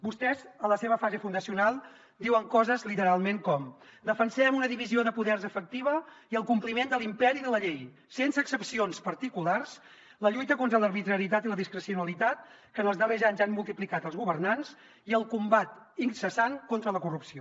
vostès en la seva fase fundacional diuen coses literalment com defensem una divisió de poders efectiva i el compliment de l’imperi de la llei sense excepcions particulars la lluita contra l’arbitrarietat i la discrecionalitat que en els darrers anys han multiplicat els governants i el combat incessant contra la corrupció